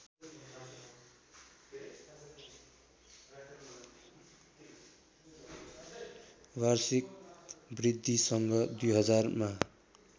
वार्षिक वृद्धिसँग २०००मा